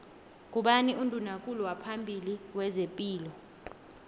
ngubani unduna kulu waphambili wezepilo